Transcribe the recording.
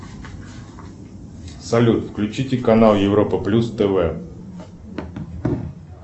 салют включите канал европа плюс тв